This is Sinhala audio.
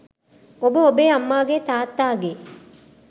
ඔබ ඔබේ අම්මාගේ තාත්තාගේ